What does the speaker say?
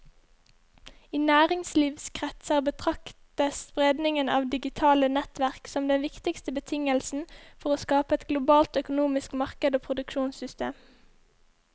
I næringslivskretser betraktes spredningen av digitale nettverk som den viktigste betingelsen for å skape et globalt økonomisk marked og produksjonssystem.